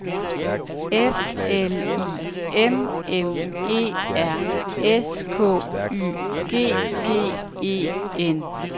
F L I M M E R S K Y G G E N